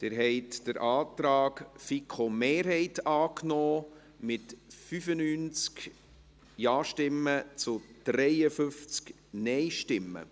Sie haben den Antrag der FiKo-Mehrheit angenommen mit 95 Ja-Stimmen zu 53 NeinStimmen.